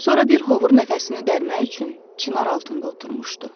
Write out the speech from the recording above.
Sonra bir hovur nəfəsini dərmək üçün çınar altında oturmuşdu.